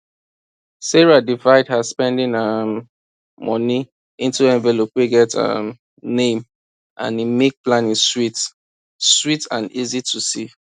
sarah divide her spending um money into envelope wey get um name and e make planning sweet sweet and easy to see